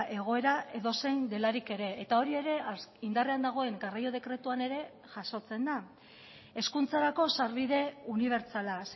egoera edozein delarik ere eta hori ere indarrean dagoen garraio dekretuan ere jasotzen da hezkuntzarako sarbide unibertsala